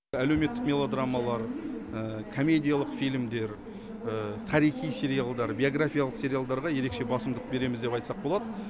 әлеуметтік мелодрамалар комедиялық фильмдер тарихи сериалдар биографиялық сериалдарға ерекше басымдық береміз деп айтсақ болады